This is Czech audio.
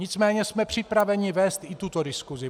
Nicméně jsme připraveni vést i tuto diskusi.